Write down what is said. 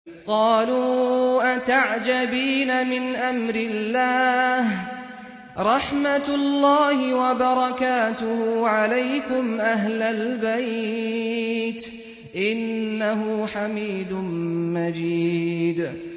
قَالُوا أَتَعْجَبِينَ مِنْ أَمْرِ اللَّهِ ۖ رَحْمَتُ اللَّهِ وَبَرَكَاتُهُ عَلَيْكُمْ أَهْلَ الْبَيْتِ ۚ إِنَّهُ حَمِيدٌ مَّجِيدٌ